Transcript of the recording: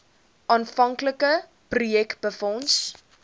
aanvanklike projek befonds